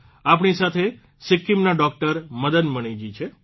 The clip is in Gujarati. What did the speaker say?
આપણી સાથે સિક્કિમના ડોકટર મદન મણીજી છે